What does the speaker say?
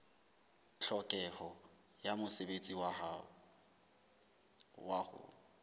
tlhokeho ya mosebetsi wa ho